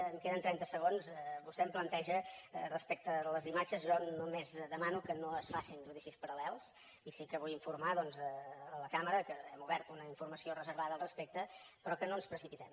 em queden trenta segons vostè em planteja les imatges jo només demano que no es facin judicis paral·lels i sí que vull informar la cambra que hem obert una informació reservada al respecte però que no ens precipitem